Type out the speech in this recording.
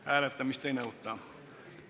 Hääletamist ei nõuta.